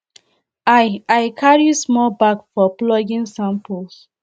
i i carry small bag for plucking samples